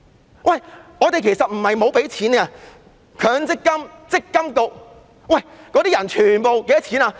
然而，我們其實不是沒有付錢，積金局那些人的月薪是多少？